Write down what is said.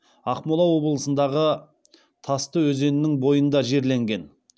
ақмола облысындағы тасты өзеннің бойында жерленген